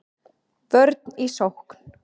Vörn í sókn